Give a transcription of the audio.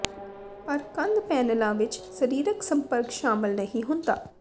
ਪਰ ਕੰਧ ਪੈਨਲਾਂ ਵਿੱਚ ਸਰੀਰਕ ਸੰਪਰਕ ਸ਼ਾਮਲ ਨਹੀਂ ਹੁੰਦਾ